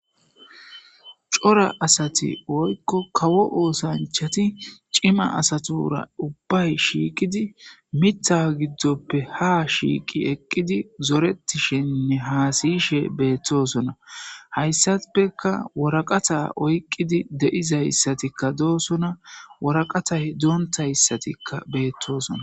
Cora asati woyko kawo osanchati cima asatura ubbay shiiqidi mitha gidonpe ha shiqidi zoretishenne hasiyishe betosona hasafeka woraqata oykidi de'izasatika dosona waraqatay dontaysatika betosona